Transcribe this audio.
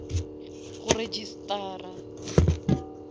go registara